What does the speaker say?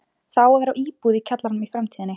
Það á að vera íbúð í kjallaranum í framtíðinni.